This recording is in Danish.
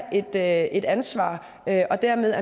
at tage et ansvar og dermed